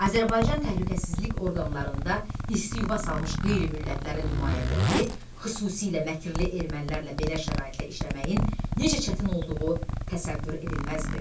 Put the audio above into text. Azərbaycan Təhlükəsizlik orqanlarında isti yuva salmış qeyri-millətlərin nümayəndələri, xüsusilə məkirlikli ermənilərlə belə şəraitlə işləməyin necə çətin olduğu təsəvvür edilməzdi.